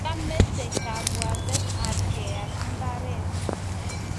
Kiamete kabwatet ab keal mbaret